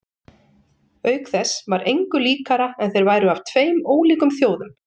Auk þess var engu líkara en þeir væru af tveim ólíkum þjóðum.